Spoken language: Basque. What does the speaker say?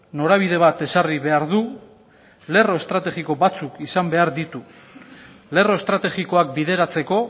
norabide bat ezarri behar du lerro estrategiko batzuk izan behar ditu lerro estrategikoak bideratzeko